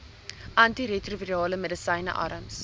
antiretrovirale medisyne arms